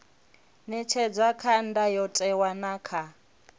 ṅetshedzwa kha ndayotewa na kha